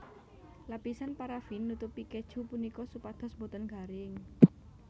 Lapisan parafin nutupi keju punika supados boten garing